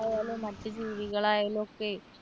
പക്ഷികൾ ആയാലും മറ്റു ജീവികൾ ആയാലും ഒക്കെ